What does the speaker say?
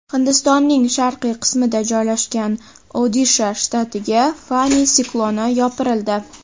Hindistonning sharqiy qismida joylashgan Odisha shtatiga Fani sikloni yopirildi.